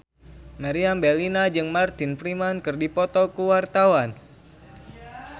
Meriam Bellina jeung Martin Freeman keur dipoto ku wartawan